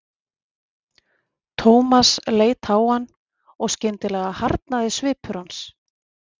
Thomas leit á hann og skyndilega harðnaði svipur hans.